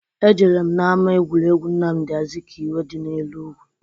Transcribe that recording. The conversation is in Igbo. Ejere m na-ama egwuregwu Nnamụdị Azụkaiwe dị n'Enugu.